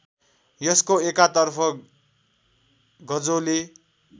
यसको एकातर्फ गजोले